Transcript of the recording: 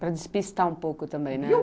Para despistar um pouco também, né?